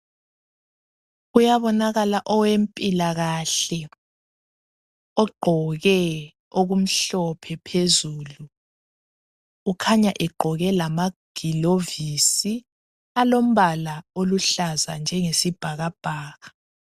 Kuyabonakala owempilakahle ogqoke okumhlophe phezulu. Ukhanya egqoke lamagilovisi alombala oluhlaza njengesibhakabhaka.